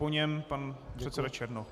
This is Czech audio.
Po něm pan předseda Černoch.